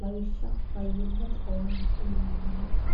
lawishshaho fayyimmate owaante uyinanniwati .